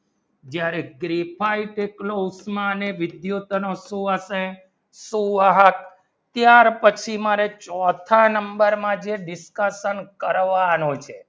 ક્યારે ટ્રિફાઇડ એટલો ઉંટમાં વિદ્યુત ને શું હશે સુવાહક ત્યાર પછી મારે ચોથા number માં જે discussion કરવાનો છે